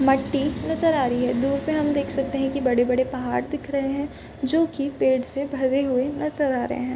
मट्टी नजर आ रही है। दूर पे हम देख सकते है कि बड़े-बड़े पहाड़ दिख रहे हैं जोकि पेड़ से भरे हुए नजर आ रहे हैं।